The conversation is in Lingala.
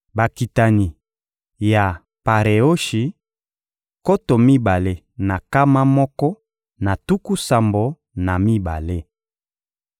Bakitani ya Pareoshi: nkoto mibale na nkama moko na tuku sambo na mibale.